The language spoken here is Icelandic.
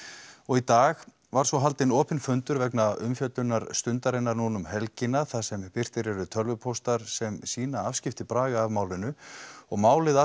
í dag var svo haldinn opinn fundur vegna umfjöllunar Stundarinnar þar sem birtir eru tölvupóstar sem sýna afskipti Braga af málinu og málið